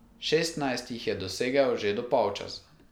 Šestnajst jih je dosegel že do polčasa.